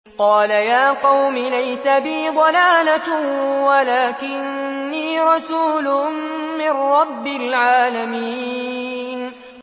قَالَ يَا قَوْمِ لَيْسَ بِي ضَلَالَةٌ وَلَٰكِنِّي رَسُولٌ مِّن رَّبِّ الْعَالَمِينَ